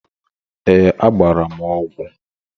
Ee. Agbara m ọgwu